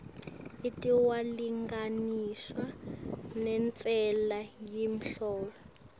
itawulinganiswa nentsela yemholo